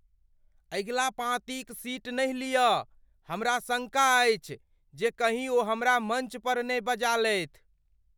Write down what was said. अगिला पाँती क सीट नहि लियऽ। हमरा शङ्का अछि जे कहीं ओ हमरा मञ्च पर ने बजा लेथि ।